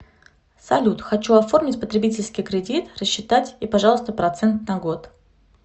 салют хочу оформить потребительский кредит рассчитать и пожалуйста процент на год